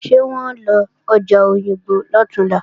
Ṣé wọ́n ó lọ ọjà Òyìngbò lọ̀túnla?